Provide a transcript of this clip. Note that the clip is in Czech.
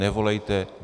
Nevolejte.